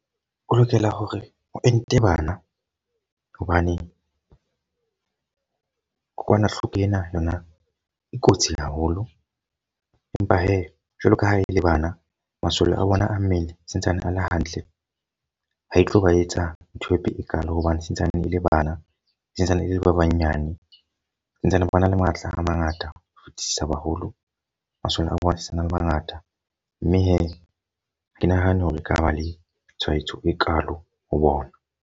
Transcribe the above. O lokela hore o ente bana. Hobane kokwanahloko ena yona e kotsi haholo. Empa he, jwalo ka ha e le bana masole a bona a mmele santsane a le hantle. Ha e tlo ba etsa ntho e kalo hobane santsane e le bana, e santsane e le le ba banyane. Santsane ba na le matla a mangata ho fetisisa baholo. Masole a bona sena le bangata. Mme he ha ke nahane hore ekaba le tshwaetso e kalo ho bona.